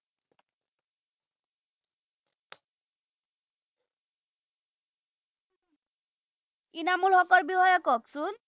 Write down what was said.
ইনামুল হকৰ বিষয়ে কওকচোন